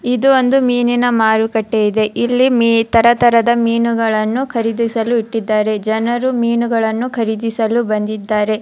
ಇದು ಒಂದು ಮೀನಿನ ಮಾರುಕಟ್ಟೆ ಇದೆ ಇಲ್ಲಿ ಮಿ ತರತರದ ಮೀನುಗಳನ್ನು ಖರೀದಿಸಲು ಇಟ್ಟಿದ್ದಾರೆ ಜನರು ಮೀನುಗಳನ್ನು ಖರೀದಿಸಲು ಬಂದಿದ್ದಾರೆ.